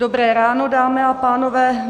Dobré ráno, dámy a pánové.